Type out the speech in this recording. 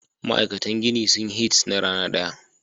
Ma'aikatan gini sun hits na rana daya.